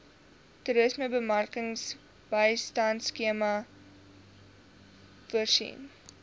toerismebemarkingbystandskema itmas voorsien